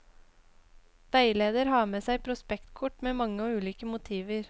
Veileder har med seg prospektkort med mange og ulike motiver.